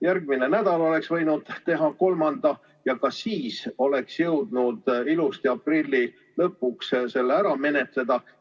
Järgmine nädal oleks võinud teha kolmanda lugemise, ka siis oleks jõudnud selle eelnõu ilusti aprilli lõpuks ära menetleda.